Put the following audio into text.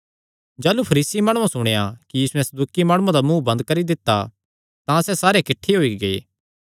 जाह़लू फरीसी माणुआं सुणेया कि यीशुयैं सदूकी माणुआं दा मुँ बंद करी दित्ता तां सैह़ सारे किठ्ठे होई गै